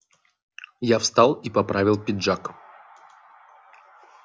я встал и поправил пиджак